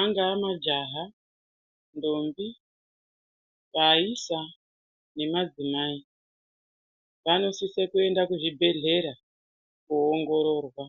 angaa majaha ndombi vaisa nemadzimai vanosisa kuenda kuzvibhedhlera koongororwa.